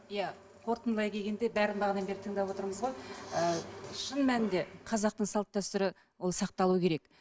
иә қорытындылай келгенде бәрін бағанадан бері тыңдап отырмыз ғой ы шын мәнінде қазақтың салт дәстүрі ол сақталуы керек